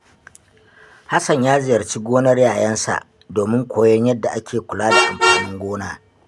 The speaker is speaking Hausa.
Hassan ya ziyarci gonar yayansa domin koyon yadda ake kula da amfanin gona.